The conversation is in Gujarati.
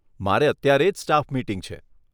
મારે અત્યારે જ સ્ટાફ મિટિંગ છે.